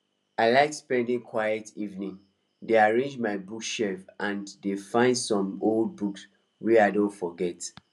i like spending quiet evening dey arrange my bookshelf and dey find some old books wey i don forget